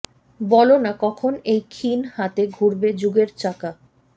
বলো না কখন এই ক্ষীণ হাতে ঘুরবে যুগের চাকা